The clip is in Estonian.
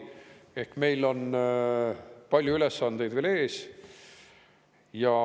Ehk meil on palju ülesandeid veel ees.